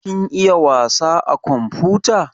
Kin iya wasa a komfuta?